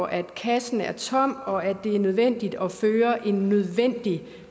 at kassen er tom og at det er nødvendigt at føre en nødvendig